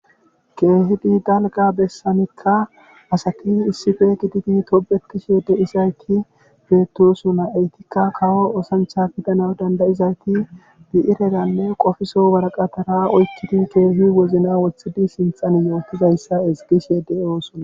keehidi dalga bessanikka asati issife giditi tobekishe deisayti peettosona eytikka kawo osancha gidana dandayizayti bi7ireranne qofiso waraqatara oykiti keehi wozna woththidi sinthan yootizayssa esgishe de7oosona